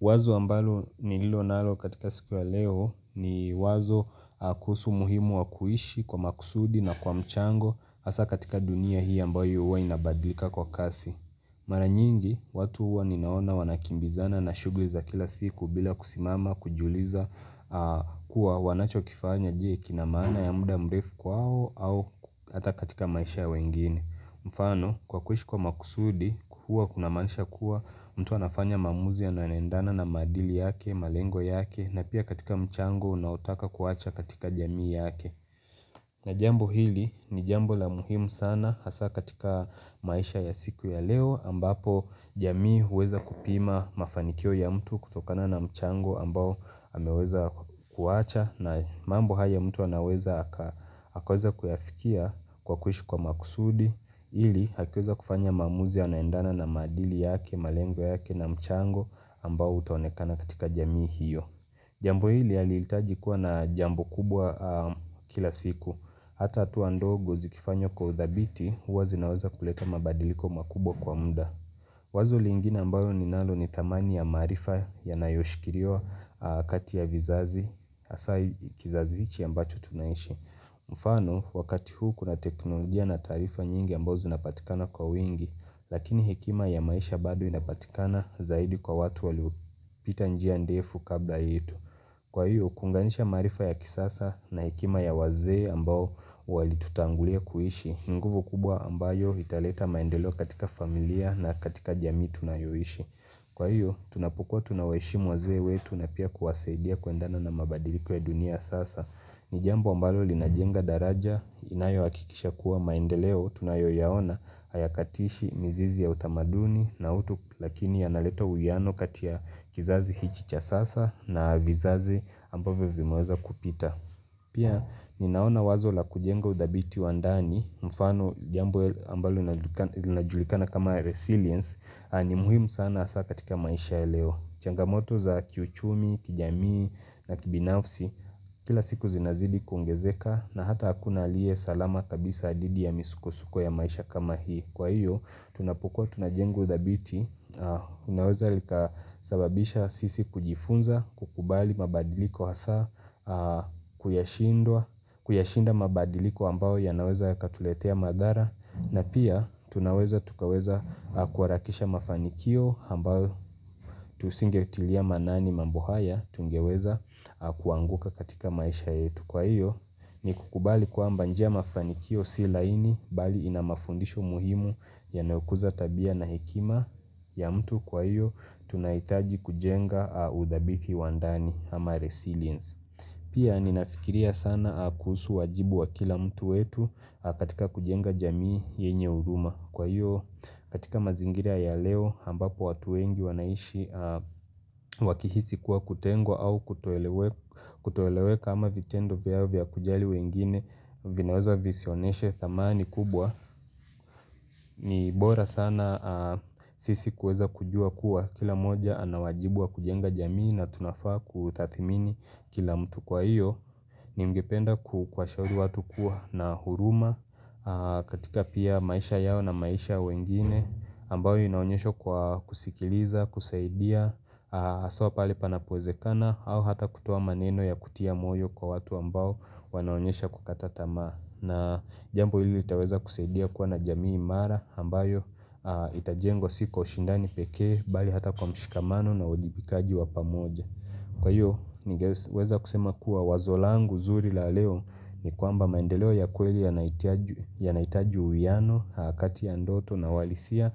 Wazo ambalo nililo nalo katika siku ya leo ni wazo kuhusu muhimu wa kuhishi kwa makusudi na kwa mchango hasa katika dunia hii ambayo huwa inabadlika kwa kasi. Mara nyingi watu huwa ninaona wanakimbizana na shugli za kila siku bila kusimama kujiuliza kuwa wanachokifanya je kina maana ya muda mrefu kwao au hata katika maisha ya wengine. Mfano kwa kuishi kwa makusudi kuhua kuna manisha kuwa mtu anafanya mamuzi yanayonendana na madili yake, malengo yake na pia katika mchango unaotaka kuwacha katika jamii yake na jambo hili ni jambo la muhimu sana hasa katika maisha ya siku ya leo ambapo jamii huweza kupima mafanikio ya mtu kutokana na mchango ambao ameweza kuwacha na mambo haya mtu anaweza akaweza kuyafikia kwa kuishi kwa makusudi ili hakiweza kufanya maamuzi yanaendana na maadili yake, malengo yake na mchango ambao utaonekana katika jamii hiyo jambo hili haliitaji kuwa na jambo kubwa kila siku hata hatua ndogo zikifanywa kwa uthabiti huwa zinaweza kuleta mabadiliko makubwa kwa mda wazo lingine ambayo ninalo ni thamani ya maarifa yanayoshikiriwa kati ya vizazi Asa i kizazi ichi ambacho tunaishi mfano wakati huu kuna teknolojia na taarifa nyingi ambao zinapatikana kwa wingi Lakini hekima ya maisha bado inapatikana zaidi kwa watu waliopita njia ndefu kabla yetu Kwa hiyo kunganisha marifa ya kisasa na hekima ya wazee ambao walitutangulia kuishi nguvu kubwa ambayo italeta maendelo katika familia na katika jami tunayoishi Kwa hiyo, tunapokua tunaweshimu wazee wetu na pia kuwasaidia kuendana na mabadiliko ya dunia sasa. Ni jambu ambalo linajenga daraja, inayoakikisha kuwa maendeleo, tunayoyaona, hayakatishi, mizizi ya utamaduni, na utu lakini yanaleta uyano kati ya kizazi hichi cha sasa na vizazi ambavyo vimeweza kupita. Pia, ninaona wazo la kujenga udhabiti wa ndani, mfano jambo ambalo linajulikana kama resilience, ni muhimu sana asa katika maisha ya leo Changamoto za kiuchumi, kijamii na kibinafsi Kila siku zinazidi kuongezeka na hata hakuna aliye salama kabisa didi ya misuko-suko ya maisha kama hii Kwa hiyo, tunapokua tunajeng uthabiti Unaweza likasababisha sisi kujifunza, kukubali mabadiliko hasa Kuyashinda mabadiliko ambao yanaweza yakatuletea madhara na pia tunaweza tukaweza akuarakisha mafanikio ambayo tusingetilia manani mambo haya tungeweza akuanguka katika maisha yetu kwa hiyo ni kukubali kwamba njia ya mafanikio si laini bali ina mafundisho muhimu yanayokuza tabia na hekima ya mtu kwa hiyo tunaitaji kujenga udhabithi wa ndani ama resiliens. Pia ninafikiria sana kuusu wajibu wa kila mtu wetu katika kujenga jamii yenye uruma. Kwa hiyo katika mazingira ya leo hambapo watu wengi wanaishi wakihisi kuwa kutengwa au kutoeleweka ama vitendo vyao vya kujali wengine vinaweza visioneshe thamani kubwa. Ni bora sana sisi kuweza kujua kuwa kila moja anawajibu wa kujenga jamii na tunafaa kutathimini kila mtu kwa iyo Ningependa ku kwashauri watu kuwa na huruma katika pia maisha yao na maisha wengine ambao inaonyeshwa kwa kusikiliza, kusaidia, aso pale panapowezekana au hata kutoa maneno ya kutia moyo kwa watu ambao wanaonyesha kukatatama na jambu hili itaweza kusaidia kuwa na jamii imara ambayo itajengwa si kwa ushindani peke bali hata kwa mshikamano na uajibikaji wa pamoja. Kwa hiyo, nigeweza kusema kuwa wazo langu zuri la leo ni kuamba maendeleo ya kueli yanaitaju uiano, kati ya ndoto na walisia,